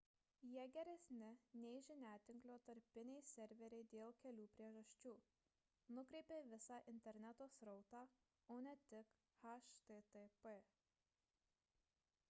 jie geresni nei žiniatinklio tarpiniai serveriai dėl kelių priežasčių nukreipia visą interneto srautą o ne tik http